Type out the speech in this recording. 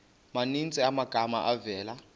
maninzi amagama avela